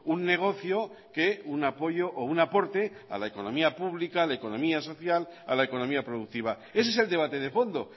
un negocio que un apoyo o un aporte a la economía pública a la economía social a la economía productiva ese es el debate de fondo